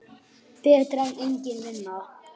Og það strax.